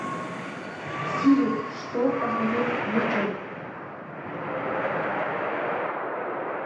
сири что посмотреть вечером